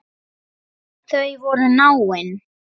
Þau voru náin.